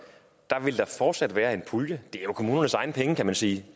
vil der fortsat være en pulje det er jo kommunernes egne penge kan man sige